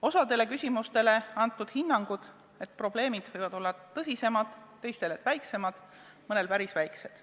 Osadele küsimustele on antud hinnang, et probleemid võivad olla suuremad, teistele, et väiksemad, mõnel juhul võivad need olla päris väiksed.